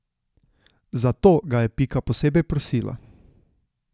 Za to ga je Pika posebej prosila.